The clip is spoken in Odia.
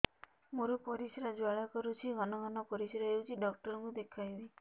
ମୋର ପରିଶ୍ରା ଜ୍ୱାଳା କରୁଛି ଘନ ଘନ ପରିଶ୍ରା ହେଉଛି ଡକ୍ଟର କୁ ଦେଖାଇବି